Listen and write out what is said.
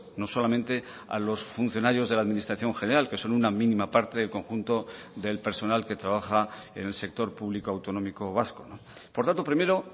no solamente a los funcionarios de la administración general que son una mínima parte del conjunto del personal que trabaja en el sector público autonómico vasco por tanto primero